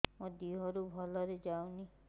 ମୋ ଦିହରୁ ଭଲରେ ଯାଉନି